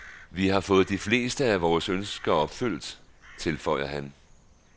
Vi har fået de fleste af vore ønsker opfyldt han, tilføjer han.